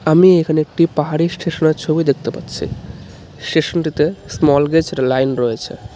আমি এখানে একটি পাহাড়ি স্টেশনের ছবি দেখতে পাচ্ছি স্টেশনটিতে স্মল লাইন রয়েছে .